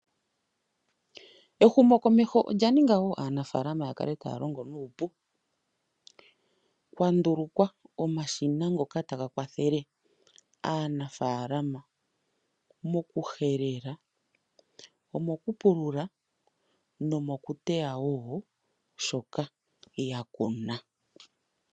Ehumo komeho olya ninga wo aanafalama ya kale taya longo nu upu. Okwa ndulukwa omashina ngoka ta ga kwathele aanafalama moku helela, omoku pulula nomoku teta wo shoka ya kuna.